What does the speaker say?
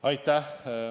Aitäh!